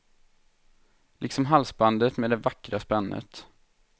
Liksom halsbandet med det vackra spännet.